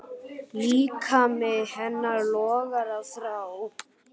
Líkami hennar logaði af þrá.